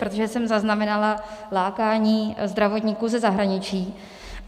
Protože jsem zaznamenala lákání zdravotníků ze zahraničí.